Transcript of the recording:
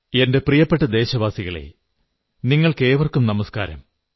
എന്റെ പ്രിയപ്പെട്ട ദേശവാസികളേ നിങ്ങൾക്കേവർക്കും നമസ്കാരം